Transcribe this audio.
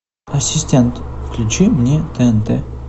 ассистент включи мне тнт